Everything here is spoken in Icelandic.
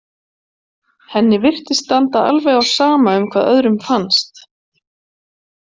Henni virtist standa alveg á sama um hvað öðrum fannst.